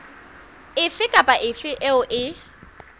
efe kapa efe eo e